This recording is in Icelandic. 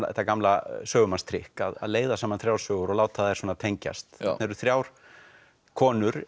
þetta gamla sögumannstrikk að leiða saman þrjár sögur og láta þær tengjast það eru þrjár konur